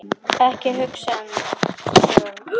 Ekki hugsa þig um.